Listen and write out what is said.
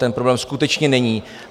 Ten problém skutečně není.